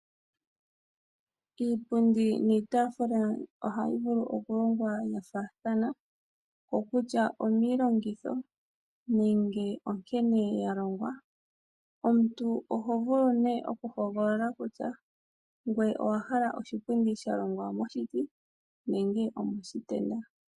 Iipundi niitafula ohayi vulu okulongwa ya faathana. Okutya omiilongitho, nenge nkene yalongwa. Omuntu oho vulu ne okuhogolola kutya, ngele owahala oshipundi shalongwa moshiti, nenge omoshitenda.